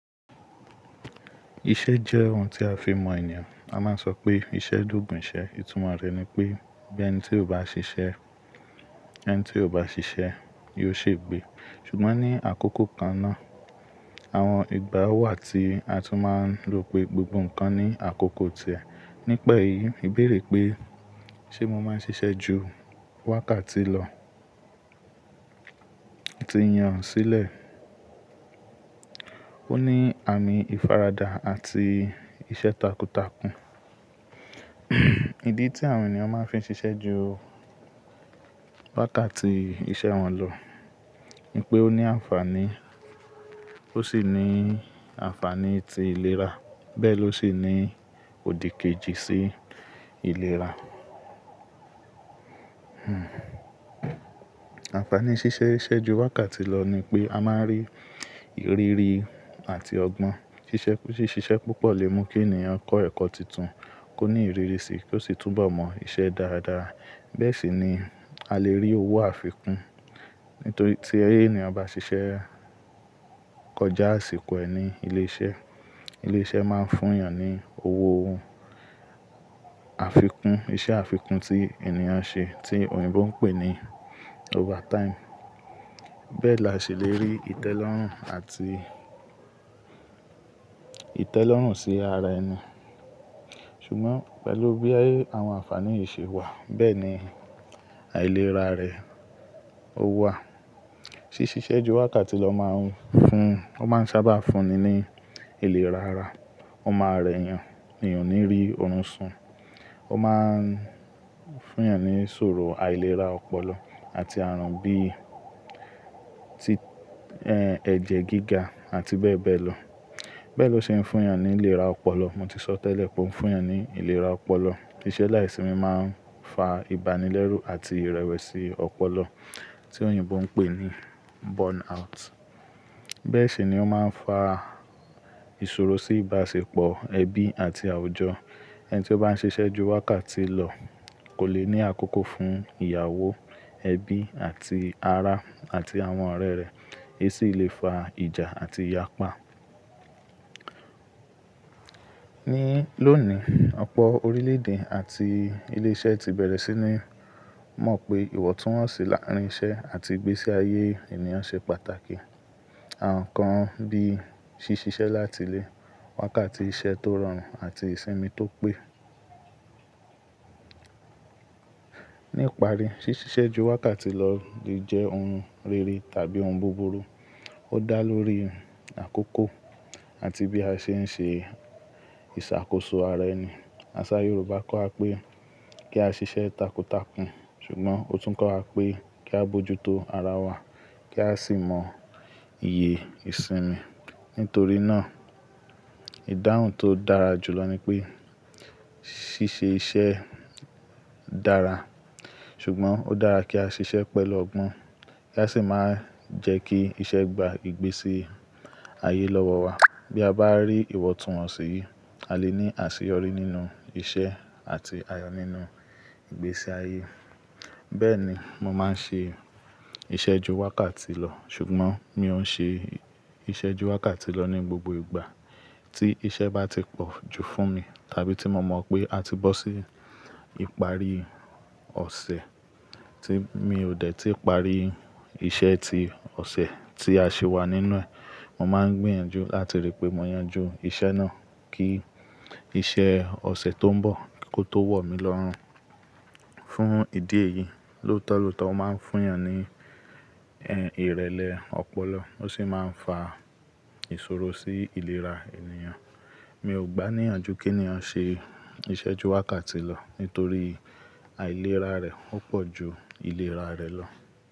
Iṣẹ́ jẹ́ ohun tí a fi ń mọ ènìyàn. A máa ń sọ pé iṣẹ́ loogun ìṣẹ́. Ìtumọ̀ rẹ̀ ni pé bí ẹni tí ó bá ṣiṣẹ́, ẹni tí ó bá ṣiṣẹ́ yóò ṣe gbé. Ṣùgbọ́n ní àkókò kan náà, àwọn ìgbà ó wà tí a tún máa ń rò pé gbogbo nǹkan ní àkókò tẹ̀. Nípa èyí, ẹ béèrè pé ṣé mo máa ń ṣiṣẹ́ ju wákàtí lọ? Ti yan sílẹ̀. Ó ní àmì ìfaradà àti iṣẹ́ takuntakun. Ìdí tí àwọn ènìyàn máa fi ń ṣiṣẹ́ ju wákàtí iṣẹ́ wọn lọ ni pé ó ní ànfàní, ó sì ní ànfàní ti ìlera bẹ́ẹ̀ ló sì ní òdìkejì sí ìlera. Ànfàní ṣíṣe iṣẹ́ ju wákàtí lọ ni pé a máa ń rí ìrírí àti ọgbọ́n. Ṣíṣe iṣẹ púpọ̀ lè mú kí ènìyàn kọ́ ẹ̀kọ́ titun, kó ní ìrírí sí i kó sì túnbọ̀ mọ iṣẹ́ dáadáa. Bẹ́ẹ̀ sì ni a lè rí owó àfikún. Nítorí tí ènìyàn bá ṣiṣẹ́ kọjá àsìkò ẹ ni ilé iṣẹ́, ilé iṣẹ́ máa ń fún èèyàn ní owó àfikún, iṣẹ́ àfikún tí ènìyàn ṣe tí òyìnbó ń pè ní overtime. Bẹ́ẹ̀ la ṣe lè rí ìtẹ́lọ́rùn àti ìtẹ́lọ́rùn sí ara ẹni. Ṣùgbọ́n pẹ̀lú bí àwọn ànfàní yìí ṣe wà, bẹ́ẹ̀ ni àìlera rẹ̀ ó wà. Ṣíṣe iṣẹ́ ju wákàtí lọ máa ń fún-- ó máa ń sábà fún ni ní ìlera ara. Ó máa rẹ́ èèyàn, èèyàn o ní rí oorun sùn. Ó máa ń fún èèyàn ní ìṣòro àìlera ọpọlọ àti ààrùn bí i ẹ̀jẹ̀ gíga àti bẹ́ẹ̀ bẹ́ẹ̀ lọ. Bẹ́ẹ̀ ló ṣe ń fún èèyàn ní ìlera ọpọlọ. Mo ti sọ tẹ́lẹ̀ pé ó ń fún èèyàn ní ìlera ọpọlọ. Ìṣe láìsími máa ń fa ìbánilẹ́rù àti ìrẹ̀wẹ̀sì ọpọlọ tí òyìnbó ń pè ní burnout. Bẹ́ẹ̀ sì ni ó máa ń fa ìṣòro sí ìbáṣepọ̀ ẹbí àti àwùjọ. Ẹni tí ó bá ń ṣiṣẹ́ ju wákàtí lọ kò le ní àkókò fún ìyàwó, ẹbí àti ará àti àwọn ọ̀rẹ́ rẹ̀. Èyí sì lè fa ìjà àti ìyapa. Ní lónìí, ọ̀pọ̀ orílẹ̀-èdè àti ilé iṣẹ́ ti bẹ̀rẹ̀ sí ní mọ̀ pé ìwọ̀túwọ̀nsí l'árínṣẹ́ àti ìgbésí ayé ènìyàn ṣe pàtàkì. Àwọn nǹkan bí i ṣíṣe iṣẹ́ lati ilé, wákàtí iṣẹ́ tó rọrùn àti ìsinmi tó pé. Ní ìparí, ṣíṣe iṣẹ́ ju wákàtí lọ le jẹ́ ohun rere tàbí ohun búburú. Ó dá lórí àkókò àti bí a ṣe ń ṣe ìṣàkóso ara ẹni. Àṣá Yorùbá kọ́ wa pé kí a ṣiṣẹ́ takuntakun, ṣùgbọ́n ó tún kọ́ wa pé kí a bójú tó ara wa kí a sì mọ iye ìsinmi. Nítorí náà, ìdáhùn tó dára jùlọ ni pé ṣíṣe iṣẹ́ dára, ṣùgbọ́n ó dára kí a ṣiṣẹ́ pẹ̀lú ọgbọ́n kí a sì máa jẹ́ kí iṣẹ́ gba ìgbésí ayé lọ́wọ́ wa. Bí a bá rí ìwọ̀túwọ̀nsí, a lè ní àṣeyọrí nínú iṣẹ́ àti ayọ̀ nínú ìgbésí ayé. Bẹ́ẹ̀ ni mo máa ń ṣe iṣẹ́ ju wákàtí lọ, ṣùgbọ́n mi ò ń ṣe iṣẹ́ ju wákàtí lọ ní gbogbo ìgbà. Tí iṣẹ́ bá ti pọ̀ ju fún mi, tàbí tí mo mọ̀ pé a ti bọ́ sí ìparí ọ̀sẹ̀ tí mi ò dẹ̀ tìí parí iṣẹ́ ti ọ̀sẹ̀ tí a ṣi wà nínú ẹ̀, mo máa ń gbìyànjú láti rí pé mo yanjú iṣẹ́ náà kí iṣẹ́ ọ̀sẹ̀ tó ń bọ̀ kó tó wọ̀ mí lọ́run. Fún ìdí èyí, lóòtọ̀ lóòtọ́ ó máa ń fún èèyàn ní ìrẹ̀lẹ̀ ọpọlọ ó sì máa ń fa ìṣòro sí ìlera ènìyàn. Mi ò gbàníyànju kí ènìyàn ṣe iṣẹ́ ju wákàtí lọ nítorí àìlera rẹ̀ ó pọ̀ ju ìlera rẹ̀ lọ.